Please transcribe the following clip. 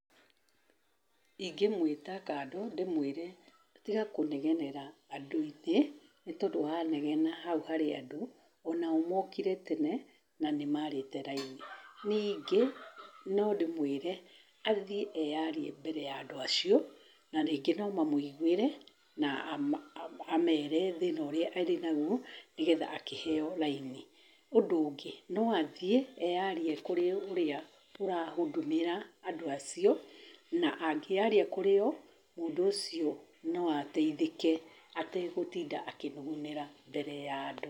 Ingĩmwĩta kando ndĩmwĩre, tiga kũnegenera andũ aingĩ, nĩtondũ wanegena hau harĩa andũ, onao mokire tene na nĩmarĩte raini. Ningĩ nondĩmwĩre athie eyarie mbere ya andũ acio narĩngĩ nomamwĩiguĩre na ama amere thĩna ũrĩa thĩna ũrĩa arĩnaguo nĩgetha akĩheo raini. ũndũ ũngĩ noathie eyarie kũrĩa arĩa arahudumĩra andũ acio na angĩyaria kũrĩo , mũndũ ũcio noatethiĩke ategũtinda akĩnugunĩra mbere ya andũ.